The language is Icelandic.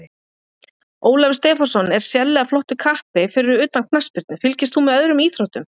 Ólafur Stefánsson er sérlega flottur kappi Fyrir utan knattspyrnu, fylgist þú með öðrum íþróttum?